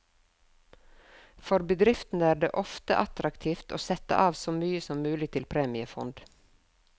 For bedriftene er det ofte attraktivt å sette av så mye som mulig til premiefond.